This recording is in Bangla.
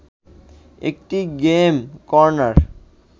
একটি গেম কর্নার